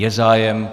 Je zájem.